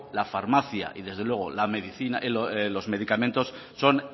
la farmacia y desde luego los medicamentos son